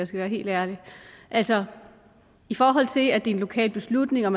skal være helt ærlig altså i forhold til at det er en lokal beslutning og